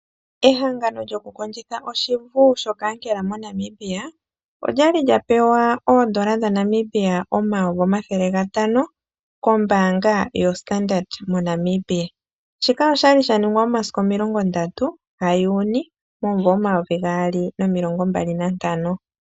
Ehangano lyokukondjitha oshivu shoKankela MoNamibia, olya li lya pewa oondola dhaNamibia omayovi omathele gatano, kombaanga yo Standard MoNamibia. Shika oshali shaningwa momasiku omilongo ndatu gaJuni, omumvo omayovi gaali nomilongo mbali nantano.